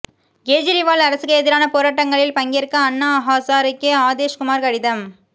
கேஜரிவால் அரசுக்கு எதிரான போராட்டங்களில் பங்கேற்க அண்ணா ஹாசரேக்கு ஆதேஷ் குமாா் கடிதம்